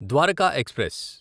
Dwaraka express